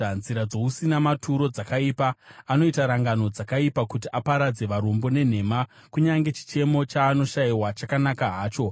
Nzira dzousina maturo dzakaipa, anoita rangano dzakaipa kuti aparadze varombo nenhema, kunyange chichemo chaanoshayiwa chakanaka hacho.